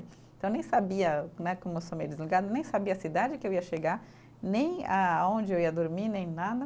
Então eu nem sabia né, como eu sou meio desligada, nem sabia a cidade que eu ia chegar, nem aonde eu ia dormir, nem nada.